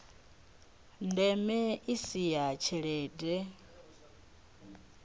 ndeme i si ya tshelede